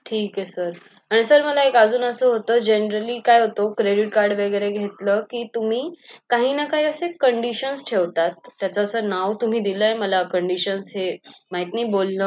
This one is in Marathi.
ठीक आहे sir आणि sir मला असं होत generali काय होत credit card घेतलं कि तुम्ही काही ना काही असं condition ठेवतात त्याच असं नाव तुम्ही दिलाय मला condition हे माहित नाही बोलण